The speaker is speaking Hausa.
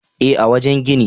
E, a wajen gini.